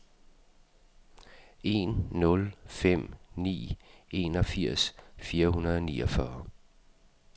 en nul fem ni enogfirs fire hundrede og niogfyrre